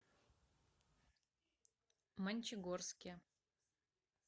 мончегорске